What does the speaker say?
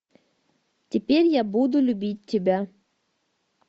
теперь я буду любить тебя